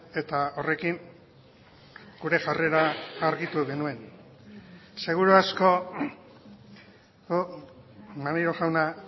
eta horrekin gure jarrera argitu genuen seguru asko maneiro jauna